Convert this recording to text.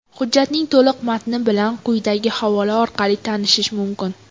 Hujjatning to‘liq matni bilan quyidagi havola orqali tanishish mumkin.